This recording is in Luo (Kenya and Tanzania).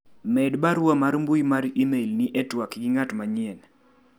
med barua mar mbui mar email ni e twak gi ng'at manyien